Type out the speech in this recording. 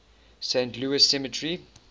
saint louis cemetery